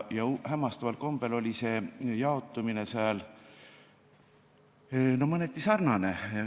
Hämmastaval kombel oli jaotumine nende puhul mõneti sarnane.